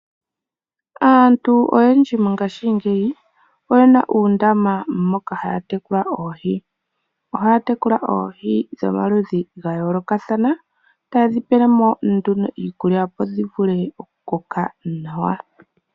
Aantu oyendji mongashingeyi oyena uundama moka haya tekula oohi. Ohaya tekula oohi dhomaludhi ga yoolokathana, taye dhi pele mo nduno iikulya opo dhi vule okukoka nawa.